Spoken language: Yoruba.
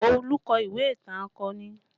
Olu kọ ìwé ìtàn akọni